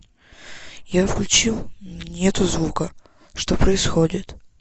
я включил нету звука что происходит